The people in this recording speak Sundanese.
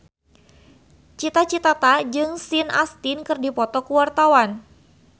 Cita Citata jeung Sean Astin keur dipoto ku wartawan